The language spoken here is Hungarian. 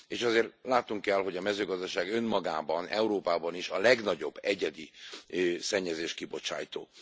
És ezért látnunk kell, hogy a mezőgazdaság önmagában, Európában is a legnagyobb egyedi szennyezéskibocsátó.